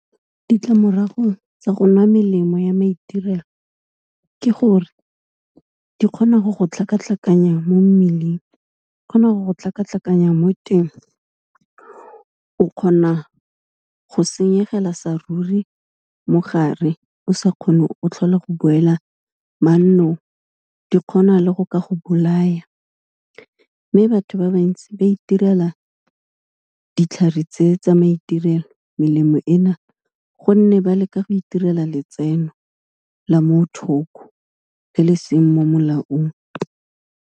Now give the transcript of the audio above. Ditlamorago tsa go nwa melemo ya maitirelo ke gore, di kgona go go tlhakatlhakanya mo mmeleng, di kgona go tlhakatlhakanya mo teng o kgona go senyegela sa ruri mogare, o sa kgone, o tlhola go boela mannong di kgona le go ka go bolaya, mme batho ba bantsi ba itirela ditlhare tse tsa maiterelo, melemo e na gonne, ba leka go itirela letseno la mo thoko, le le seng mo molaong.